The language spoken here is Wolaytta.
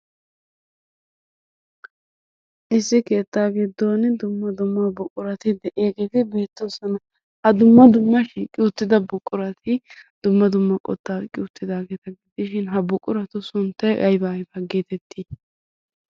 Issi keettaa giddon dumma dumma buqurati de'iyageeti beettoosona. Ha dumma dumma shiiqi uttida buqurati dumma dumma qottaa oyiqqi uttidaageeta gidishin ha buqurati sunttay ayibaa ayibaa geetetti?